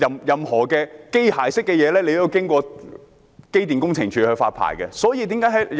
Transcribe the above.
任何機械式的設備，都是要經過機電工程署發牌的。